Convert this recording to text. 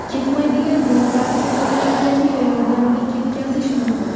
Ketmaydigan dog‘larni fototerapiya yordamida ketkazish mumkin.